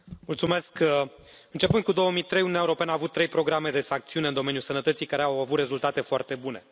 Domnule președinte, începând cu 2003, Uniunea Europeană a avut trei programe de sancțiuni în domeniul sănătății, care au avut rezultate foarte bune.